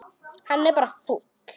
Hann er bara fúll.